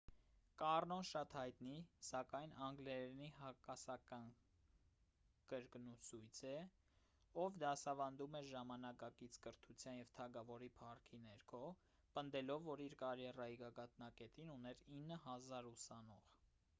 կառնոն շատ հայտնի սակայն անգլերենի հակասական կրկնուսույց է ով դասավանդում էր ժամանակակից կրթության և թագավորի փառքի ներքո պնդելով որ իր կարիերայի գագաթնակետին ուներ 9,000 ուսանող